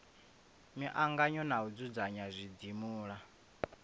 miangano na u dzudzanya zwidzimula